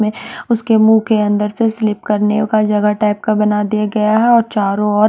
में उसके मुंह के अंदर से स्लिप करने का जगह टाइप का बना दिया गया हैं और चारों और--